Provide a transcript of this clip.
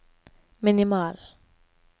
minimal